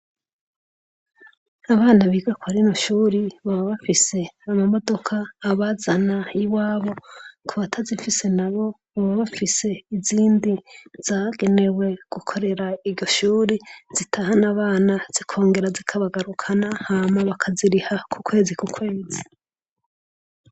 Abana biga kwa rino Shure baba bafise amamodoka abazana iwabo, kubatazifise baba bafise izindi zagenewe zirahana abana zikongera zikabagarukana bakaziriha kukwezi kukwezi.